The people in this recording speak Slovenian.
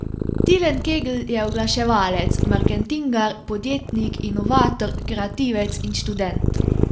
Tilen Kegl je oglaševalec, marketingar, podjetnik, inovator, kreativec in študent.